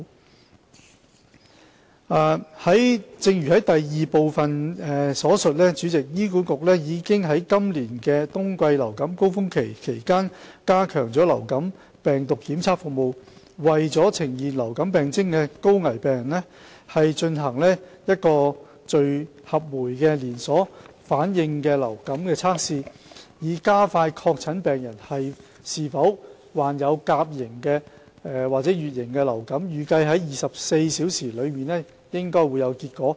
主席，正如第二部分所述，醫管局已於今年冬季流感高峰期期間加強流感病毒檢測服務，為呈現流感病徵的高危病人進行聚合酶連鎖反應流感測試，以加快確診病人是否患有甲型或乙型流感，預計24小時內應有結果。